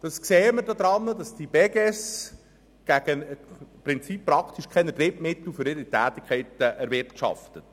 Das sehen wir daran, dass die Beges praktisch keine Drittmittel für ihre Tätigkeiten erwirtschaftet.